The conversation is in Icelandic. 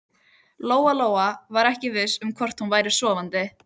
Lóa-Lóa var ekki viss um hvort hún væri sofandi.